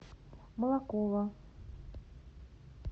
молокова